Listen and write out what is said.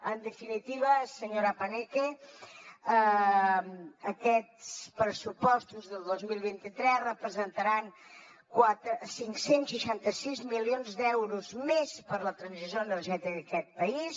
en definitiva senyora paneque aquests pressupostos del dos mil vint tres representaran cinc cents i seixanta sis milions d’euros més per a la transició energètica d’aquest país